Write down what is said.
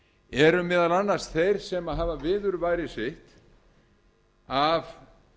eru meðal annars þeir sem hafa viðurværi sitt af